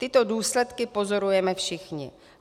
Tyto důsledky pozorujeme všichni.